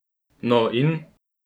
No in ?